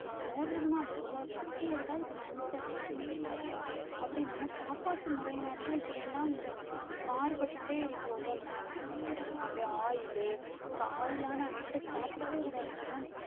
ஆஹ் ஊர் இருக்குன்னா அந்த ஊர்ல ஒரு பத்து பேருக்காவது cancer இல்லாம இல்லக்கா அப்படி நம்ம சாப்பாட்டு முறையினாலதான் இப்படி எல்லாம் இந்த மாறுபட்டுட்டே இருக்கு ஒவ்வொரு நாளும் நம்ம அப்படியே oil உ oil ஆன item சாப்புடவே கூடாது நம்ம